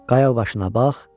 Qaya başına bax.